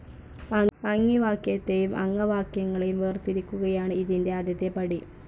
അംഗിവാക്യത്തെയും അംഗവാക്യങ്ങളെയും വേർതിരിക്കുകയാണ് ഇതിന്റെ ആദ്യത്തെ പടി.